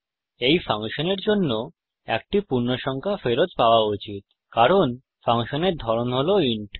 এই ফাংশনের জন্য একটি পূর্ণসংখ্যা ফেরত পাওয়া উচিত কারণ ফাংশনের ধরন হল ইন্ট